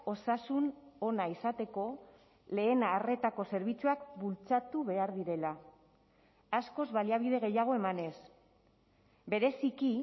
osasun ona izateko lehen arretako zerbitzuak bultzatu behar direla askoz baliabide gehiago emanez bereziki